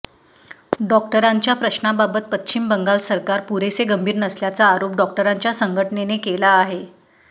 डॉक्टरांच्या प्रश्नांबाबत पश्चिम बंगाल सरकार पुरेसे गंभीर नसल्याचा आरोप डॉक्टरांच्या संघटनेने केला आहे